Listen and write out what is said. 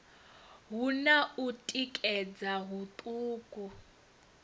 hu na u tikedza huṱuku